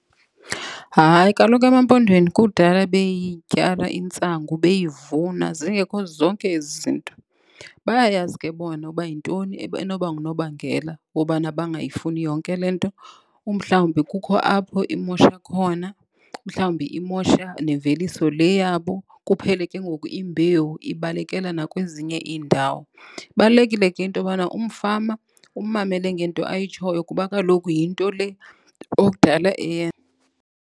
Hayi, kaloku emaMpondweni kudala beyityala intsangu, beyivuna zingekho zonke ezi zinto. Bayayazi ke bona uba yintoni enoba ngunobangela wobana bangayifuni yonke le nto. Umhlawumbi kukho apho imosha khona. Mhlawumbi imosha nemveliso le yabo kuphele ke ngoku imbewu ibalekela nakwezinye iindawo. Ibalulekile ke into yobana umfama ummamele ngento ayitshoyo kuba kaloku yinto le okudala .